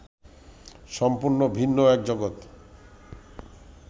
সম্পূর্ণ ভিন্ন এক জগত